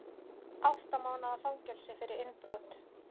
Átta mánaða fangelsi fyrir innbrot